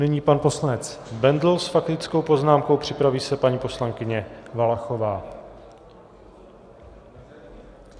Nyní pan poslanec Bendl s faktickou poznámkou, připraví se paní poslankyně Valachová.